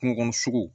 Kungokɔnɔ sogo